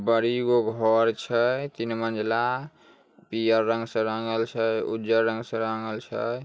बड़ी गो घर छै तीन मंजिला । पियर रंग से रंगल छै उज्जर रंग से रंगल छै ।